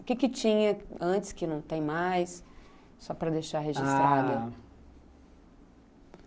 O que tinha antes que não tem mais, só para deixar registrado? ah...